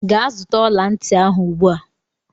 Gee zụta ọlanti ahụ ugbua!!!!!